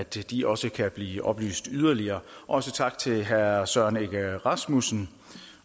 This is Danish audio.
at de også kan blive oplyst yderligere også tak til herre søren egge rasmussen